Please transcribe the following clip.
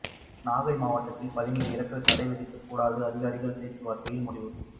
நாகை மாவட்டத்தில் பதனீர் இறக்க தடை விதிக்க கூடாது அதிகாரிகள் பேச்சுவார்த்தையில் முடிவு